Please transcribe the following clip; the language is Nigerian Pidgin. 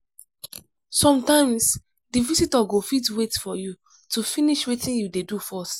sometimes di visitor go fit wait for you to finish wetin you dey do first